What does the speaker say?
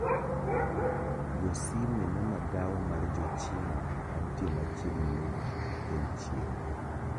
Go sime ne magawa mar jochina mantie machiegni mogik gikel chiemo